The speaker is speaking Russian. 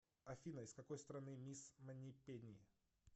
афина из какой страны мисс манипени